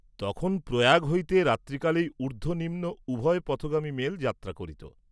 তখন প্রয়াগ হইতে রাত্রিকালেই উর্দ্ধ নিম্ন উভয় পথগামী মেল যাত্রা করিত।